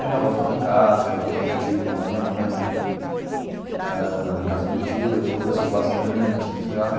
Aí minha avó foi lá em casa, meu tio meu tio, irmão da minha mãe eh, na casa do meu tio, a gente conversou bastante, não sei que lá.